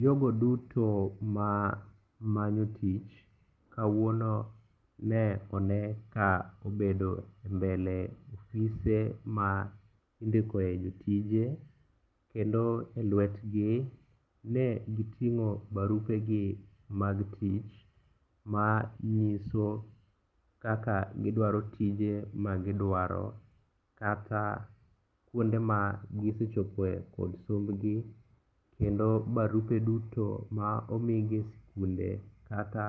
Jogo duto ma manyo tich kawuono ne one ka obedo e mbele ofise ma indikoe jotije, kendo e lwetgi ne giting'o barupegi mag tich ma nyiso kaka gidwaro tije magidwaro kata kuonde magisechopoe kod sombgi kendo barupe duto ma omigi e skunde kata